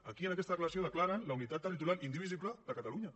aquí en aquesta declaració declaren la unitat territorial indivisible de catalunya